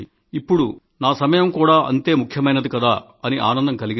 ఇప్పుడు నా సమయం కూడా అంతే ముఖ్యమైంది కదా అని ఆనందం కలిగింది